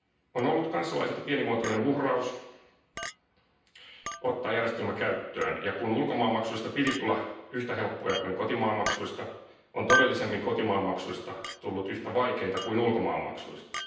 On ollut kansalaisilta pienimuotoinen uhraus ottaa järjestelmä käyttöön ja kun ulkomaanmaksuista piti tulla yhtä helppoja kuin kotimaanmaksuista, todellisuudessa kotimaanmaksuista on tullut yhtä vaikeita kuin ulkomaanmaksuista.